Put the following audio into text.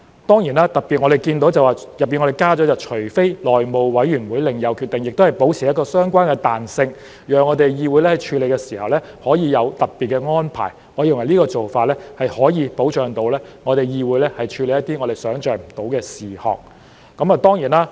當然，我們特別看到當中加了"除內務委員會另有決定外"，這亦能保持相關彈性，讓議會處理時可以有特別安排，我認為這個做法可以保障議會處理一些我們想象不到的事項。